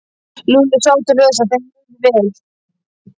Lúlli sá til þess að þeim liði vel.